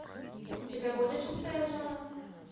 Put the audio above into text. у тебя будет шестая зона